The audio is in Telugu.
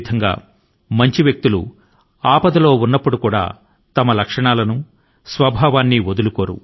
అలాగే ధర్మవంతులు విపత్తుల్లోనూ వారి లక్షణాల ను లేదా నిజ స్వభావాన్ని వదులుకోరు